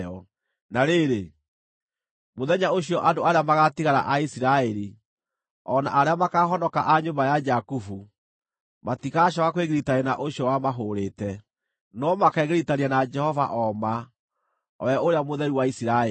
Na rĩrĩ, mũthenya ũcio andũ arĩa magaatigara a Isiraeli, o na arĩa makaahonoka a nyũmba ya Jakubu, matigacooka kwĩgiritania na ũcio wamahũũrĩte, no makegiritania na Jehova o ma, o we Ũrĩa Mũtheru wa Isiraeli.